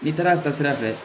N'i taara taasira fɛ